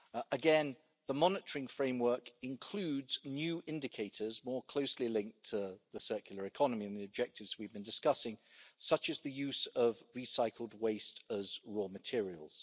Again, the monitoring framework includes new indicators more closely linked to the circular economy and the objectives we've been discussing, such as the use of recycled waste as raw materials.